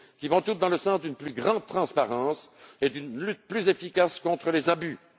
elles vont toutes dans le sens d'une plus grande transparence et d'une lutte plus efficace contre les abus.